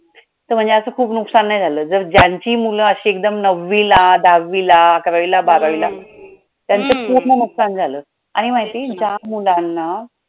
म्हणजे असं काय खूप नुकसान नाही झालं जर ज्यांची मूलं अशी एकदम नववीला, दहावीला, अकरावीला बारावीला त्याचं पूर्ण नुकसान झालं आणि माहितीये ज्या मुलांना